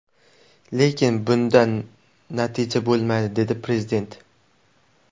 Lekin bundan natija bo‘lmaydi”, dedi Prezident.